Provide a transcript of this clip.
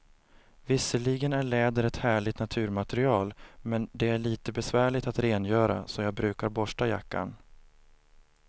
Visserligen är läder ett härligt naturmaterial, men det är lite besvärligt att rengöra, så jag brukar borsta jackan.